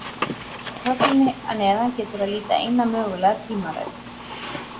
Í töflunni að neðan getur að líta eina mögulega tímaröð.